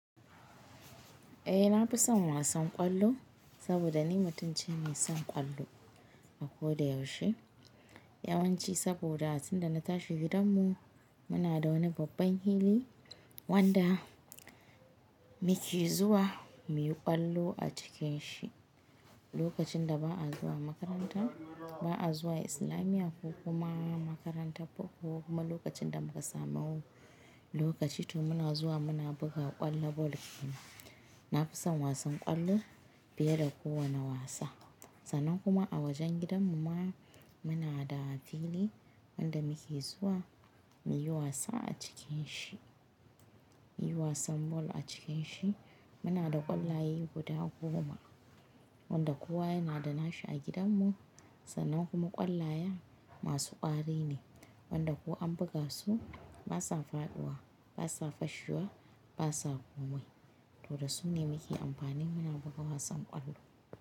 Eh na fi son wasan ƙwallo saboda ni mutuncin ne son ƙwallo a ko da yaushe. Yawanci saboda a cikin da na tashi gidanmu muna da wani babban fili wanda muke zuwa muyi ƙwallo a cikin shi. Lokacin da ba a zuwa makaranta ba a zuwa islamiya ko kuma makarantar boko ko kuma lokacin da muka samu lokaci to muna zuwa muna buga ƙwallon bol kina. Na fi son wasan ƙwallo fiye da kowane wasa. Sannan kuma a wajen gidan mu ma muna da fili wanda muke zuwa muyi wasa a cikin shi, muyi wasan bol a cikin shi. Muna da ƙwallaye guda goma wanda kowa yana da nashi a gidanmu sannan kuma ƙwallaya masu ƙwari ne wanda ko an buga su ba sa faɗuwa ba sa fashiwa ba sa komai. To da su ne muke amfani muna buga wasan ƙwallo.